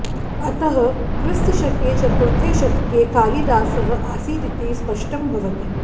अतः क्रिस्तशके चतुर्थे शतके कालिदासः आसीदिति स्पष्टं भवति